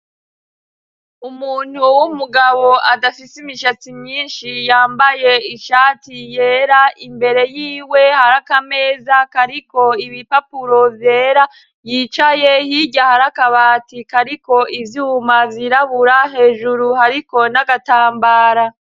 Umuntu w'umugabo adafise imishatsi myinshi yambaye ishati yera, imbere yiwe hari akameza kariko ibipapuro vyera yicaye hirya hari akabati kariko ivyuma vyirabura hejuru hariko n'agatambara.